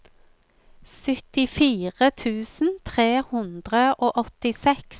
syttifire tusen tre hundre og åttiseks